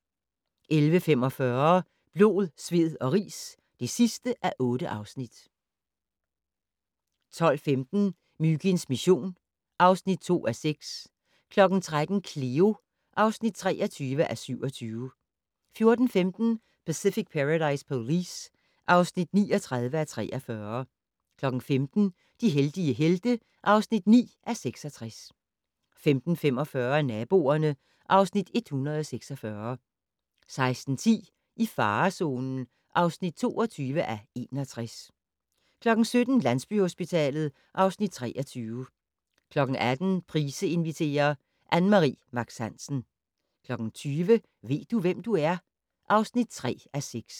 11:45: Blod, sved og ris (8:8) 12:15: Myginds mission (2:6) 13:00: Cleo (23:27) 14:15: Pacific Paradise Police (39:43) 15:00: De heldige helte (9:66) 15:45: Naboerne (Afs. 146) 16:10: I farezonen (22:61) 17:00: Landsbyhospitalet (Afs. 23) 18:00: Price inviterer - Ann Mari Max Hansen 20:00: Ved du, hvem du er? (3:6)